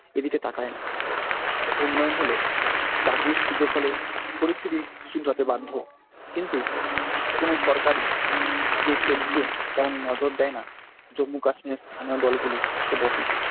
এদিকে তাকায় না উন্নয়ন হলে চাকরির সুযোগ হলে পরিস্থিতি শুধরাতে বাধ্য কিন্তু কোন সরকারই যে সেদিকে তেমন নজর দেয় না জম্মু-কাশ্মীরের স্থানীয় দলগুলি তো বটেই।